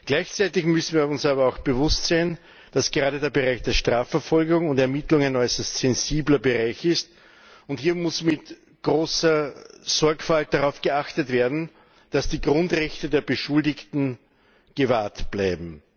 Gleichzeitig müssen wir uns aber auch bewusst sein, dass gerade der Bereich der Strafverfolgung und ermittlung ein äußerst sensibler Bereich ist, und hier muss mit großer Sorgfalt darauf geachtet werden, dass die Grundrechte der Beschuldigten gewahrt bleiben.